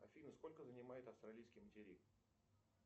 афина сколько занимает австралийский материк